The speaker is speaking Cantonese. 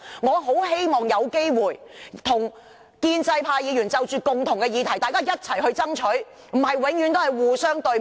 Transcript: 我很希望有機會與建制派議員就着一些共同關注的議題，一起去爭取，而非只是互相對罵。